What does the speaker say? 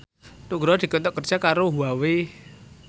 Nugroho dikontrak kerja karo Huawei